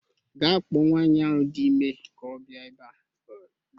Gaa kpọọ nwaanyị ahu dị ime ka ọ bịa ebe a